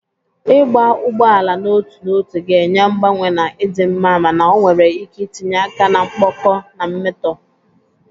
Ịgba ugbo ala n'otu n'otu ga-enye mgbanwe na ịdị mma mana ọ nwere ike itinye aka na mkpọkọ na mmetọ.